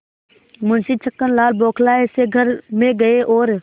मुंशी छक्कनलाल बौखलाये से घर में गये और